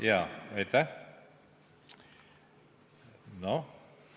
Jaa, aitäh!